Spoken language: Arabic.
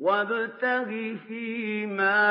وَابْتَغِ فِيمَا